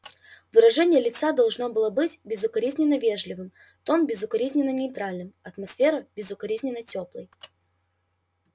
выражение лица должно было быть безукоризненно вежливым тон безукоризненно нейтральным атмосфера безукоризненно тёплой